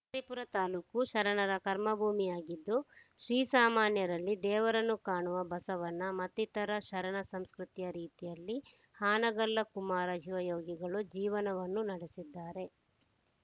ಶಿಕಾರಿಪುರ ತಾಲೂಕು ಶರಣರ ಕರ್ಮಭೂಮಿಯಾಗಿದ್ದು ಶ್ರೀ ಸಾಮಾನ್ಯರಲ್ಲಿ ದೇವರನ್ನು ಕಾಣುವ ಬಸವಣ್ಣ ಮತ್ತಿತರ ಶರಣರ ಸಂಸ್ಕೃತಿಯ ರೀತಿಯಲ್ಲಿ ಹಾನಗಲ್ಲ ಕುಮಾರ ಶಿವಯೋಗಿಗಳು ಜೀವನವನ್ನು ನಡೆಸಿದ್ದಾರೆ